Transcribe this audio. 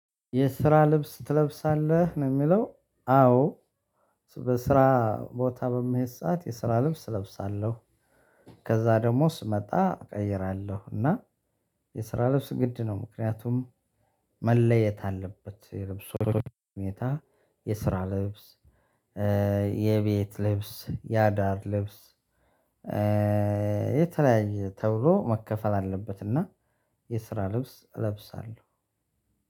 የስራ ልብስ ትለብሳለህ ነው ሚለው አወ በስራ ቦታ በመሄድ ሰዓት የስራ ልብስ እለብሳለሁ። ከዛ ደግሞ ስመጣ እቀይራለሁ። እና የስራ ልብስ ግድ ነው ምክንያቱም መለየት አለበት። የልብስ ሁኔታ የስራ ልብስ። የቤት ልብስ ያዳር ልብስ። የተለያየ ተብሎ መከፈል አለበትና የስራ ልብስ እለብሳለሁ